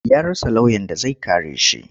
Ya rasa lauyan da zai kare shi.